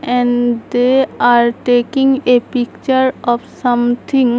And they are taking a picture of something.